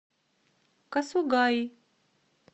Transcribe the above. касугаи